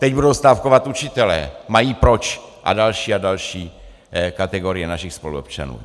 Teď budou stávkovat učitelé, mají proč, a další a další kategorie našich spoluobčanů.